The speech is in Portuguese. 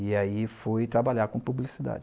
E aí fui trabalhar com publicidade.